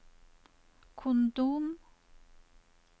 kondom